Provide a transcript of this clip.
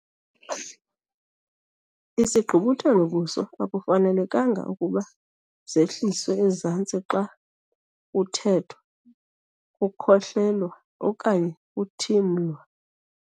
Isigqubuthelo-buso akufanelanga ukuba zehliselwe ezantsi xa kuthethwa, kukhohlelwa okanye kuthimlwa.